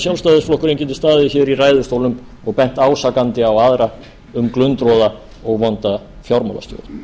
sjálfstæðisflokkurinn geti staðið hér í ræðustólnum og bent ásakandi á aðra um glundroða og vonda fjármálastjórn